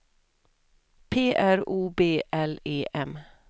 P R O B L E M